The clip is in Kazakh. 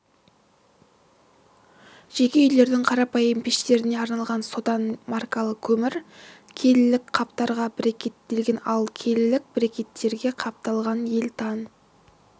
жеке үйлердің қарапайым пештеріне арналған сотан маркалы көмір келілік қаптарға брикеттелген ал келілік брикеттерге қапталған елтан